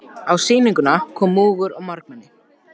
Á sýninguna kom múgur og margmenni.